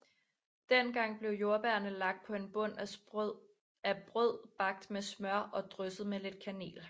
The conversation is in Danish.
Den gang blev jordbærerne lagt på en bund af brød bagt med smør og drysset med lidt kanel